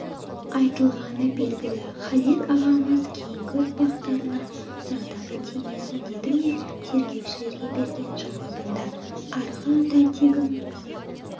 айтылғаны белгілі халел ағамыз кейінгі ұрпақтарына зардабы тимесін деді ме тергеушілерге берген жауабында арғы ата-тегім